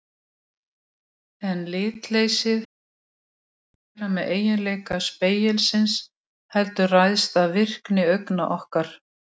En litleysið hefur ekkert að gera með eiginleika spegilsins heldur ræðst af virkni augna okkar.